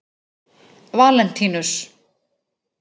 Valentínus